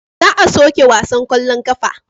Za a soke wasan kwallon kafa.